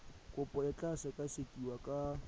kopo e tla sekasekiwa ka